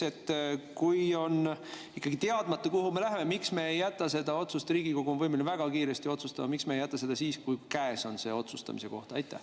Ja teiseks: kui on ikkagi teadmata, kuhu me läheme, siis miks me ei jäta seda otsust – Riigikogu on võimeline väga kiiresti otsustama –, kui käes on otsustamise koht?